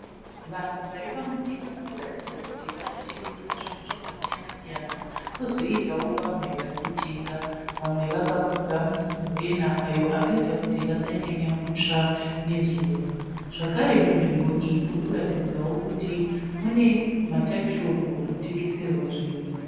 Vanhu vari pamusika varikuratidza kuti vari kutengesa zvinhu zvakasiyana siyana kozoitawo vamwe vari kutenga kozoitawo vamwe vakafuga masumburena ayo anoita kuti vasanyanya kutsva nezuva zvakare munzvimbo iyi murikuratidza kuti mune matakishop anotengeserwa zvinhu